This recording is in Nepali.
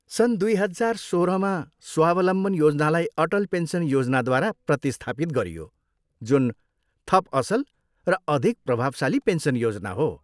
सन् दुई हजार सोह्रमा स्वावलम्बन योजनालाई अटल पेन्सन योजनाद्वारा प्रतिस्थापित गरियो, जुन थप असल र अधिक प्रभावशाली पेन्सन योजना हो।